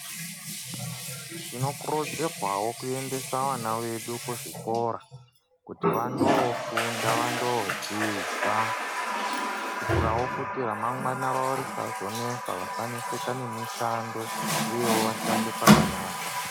Tinokurudzirwawo kuendesa ana edu kuzvikora kuti vandofunda vandodzidza kuitirawo kuti ramangwana ravo risanesa vasaneseka nemishando uyewo vashande pakanaka .